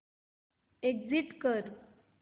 exit कर